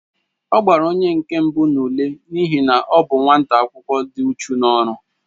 Ọ gbara onyenke mbụ n'ule n'ihi na ọ bụ nwata akwụkwọ dị uchu n'ọru